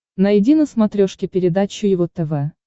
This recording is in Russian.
найди на смотрешке передачу его тв